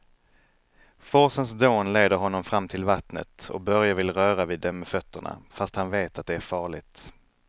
Forsens dån leder honom fram till vattnet och Börje vill röra vid det med fötterna, fast han vet att det är farligt.